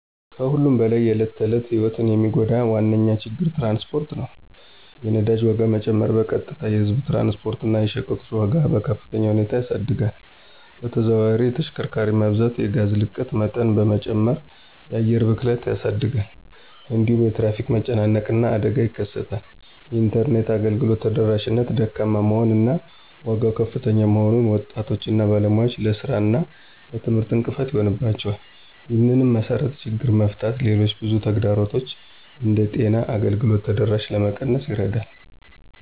ከሁሉም በላይ የዕለት ተዕለት ሕይወትን የሚጎዳ ዋነኛ ችግር ትራንስፖርት ነው። የነዳጅ ዋጋ መጨመር በቀጥታ የህዝብ ትራንስፖርት እና የሸቀጦች ዋጋን በከፍተኛ ሁኔታ ያሳድጋል። በተዘዋዋሪ የተሽከርካሪ መብዛት የጋዝ ልቀት መጠን በመጨመር የአየር ብክለትን ያሳድጋል። እንዲሁም የትራፊክ መጨናነቅ እና አደጋ ይከሰታል። የኢንተርኔት አገልግሎት ተደራሽነት ደካማ መሆን እና ዋጋው ከፍተኛ መሆኑን ወጣቶች እና ባለሙያዎች ለሥራ እና ለትምህርት እንቅፋት ይሆንባቸዋል። ይህንን መሰረታዊ ችግር መፍታት ሌሎች ብዙ ተግዳሮቶችን እንደ ጤና አገልግሎት ተደራሽነት ለመቀነስ ይረዳል።